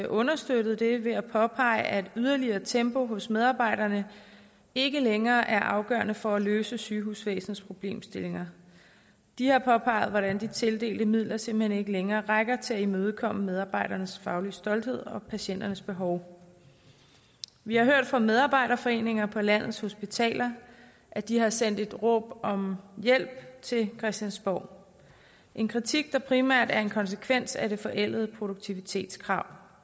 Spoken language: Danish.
understøttet det ved at påpege at yderligere tempo hos medarbejderne ikke længere er afgørende for at løse sygehusvæsenets problemstillinger de har påpeget hvordan de tildelte midler simpelt hen ikke længere rækker til at imødekomme medarbejdernes faglige stolthed og patienternes behov vi har hørt fra medarbejderforeninger på landets hospitaler at de har sendt et råb om hjælp til christiansborg en kritik der primært er en konsekvens af det forældede produktivitetskrav